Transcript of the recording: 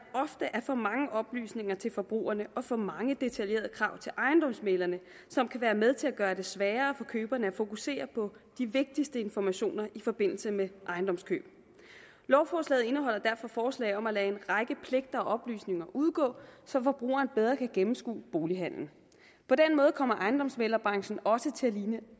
er for mange oplysninger til forbrugerne og for mange detaljerede krav til ejendomsmæglerne som kan være med til at gøre det sværere for køberne at fokusere på de vigtigste informationer i forbindelse med ejendomskøb lovforslaget indeholder derfor forslag om at lade en række pligter og oplysninger udgå så forbrugerne bedre kan gennemskue bolighandelen på den måde kommer ejendomsmæglerbranchen også til at ligne